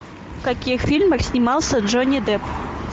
в каких фильмах снимался джонни депп